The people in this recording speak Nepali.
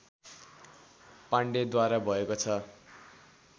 पाण्डेद्वारा भएको छ